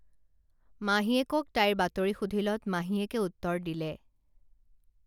মাহীয়েকক তাইৰ বাতৰি সুধিলত মাহীয়েকে উত্তৰ দিলে